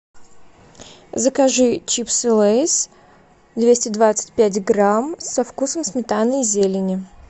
закажи чипсы лейс двести двадцать пять грамм со вкусом сметаны и зелени